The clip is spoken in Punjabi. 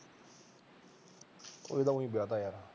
ਇਹ ਤਾਂ ਉਈਂ ਵਿਆਹਤਾ ਯਾਰ